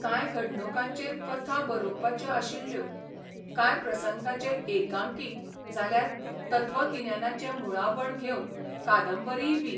कांय घडणुकांचेर कथा बरोबपाच्यो आशिल्ल्यो, कांय प्रसंगांचेर एकांकी जाल्यार तत्वागिन्यानाचें मुळाबण घेवन कादंबरीयबी.